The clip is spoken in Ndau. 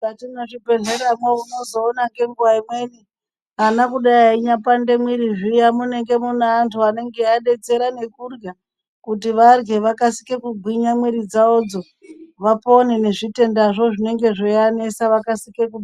Mukati mwezvibhedhlera mwo unozoona ngenguwa imweni ana kudai eipande mwiri zviya munenge mune antu anenge eiadetsera nekurya kuti varye vakAsike kugwinya mwiri dzawodzo vapone nezvitendazvo zvinenge zveianesa vakasike kupo.